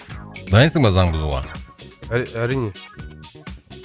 дайынсың ба заң бұзуға әрине